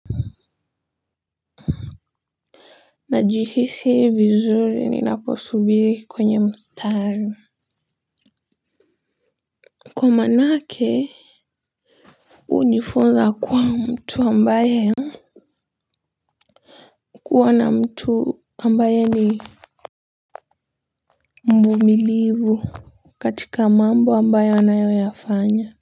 Najihisi vizuri ninaposubiri kwenye mstari kwa maana ke hunifunza kuwa mtu ambaye kuwa na mtu ambaye ni mvumilivu katika mambo ambayo anayoyafanya.